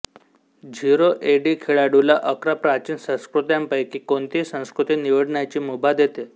zero A D खेळाडूला अकरा प्राचीन संस्कृत्यांपैकी कोणतीही संस्कृती निवडण्याची मुभा देते